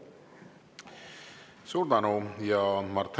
Suur tänu!